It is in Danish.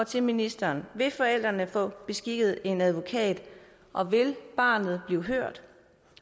til ministeren vil forældrene få beskikket en advokat og vil barnet blive hørt